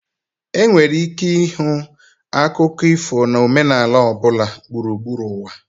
Enwere ike ịhụ akụkọ ifo na omenala ọ bụla gburugburu ụwa.